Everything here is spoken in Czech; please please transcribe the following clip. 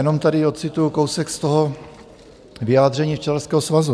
Jenom tady ocituji kousek z toho vyjádření Včelařského svazu.